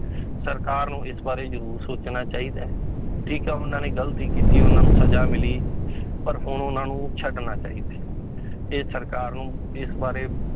ਸਰਕਾਰ ਨੂੰ ਇਸ ਬਾਰੇ ਜ਼ਰੂਰ ਸੋਚਣਾ ਚਾਹੀਦਾ ਹੈ, ਠੀਕ ਹੈ ਉਹਨਾਂ ਨੇ ਗ਼ਲਤੀ ਕੀਤੀ ਉਹਨਾਂ ਨੂੰ ਸਜ਼ਾ ਮਿਲੀ ਪਰ ਹੁਣ ਉਹਨਾਂ ਨੂੰ ਛੱਡਣਾ ਚਾਹੀਦਾ ਹੈ ਇਹ ਸਰਕਾਰ ਨੂੰ ਇਸ ਬਾਰੇ